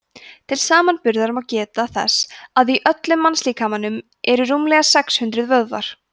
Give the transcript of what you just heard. til samanburðar má geta þess að í öllum mannslíkamanum eru rúmlega sex hundruð vöðvar